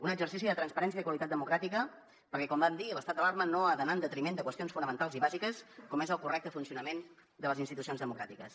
un exercici de transparència i de qualitat democràtica perquè com vam dir l’estat d’alarma no ha d’anar en detriment de qüestions fonamentals i bàsiques com és el correcte funcionament de les institucions democràtiques